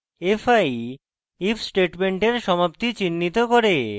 fi if স্টেটমেন্টের সমাপ্তি চিন্হিত করে